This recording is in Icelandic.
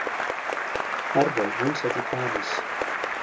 Erró vinsæll í París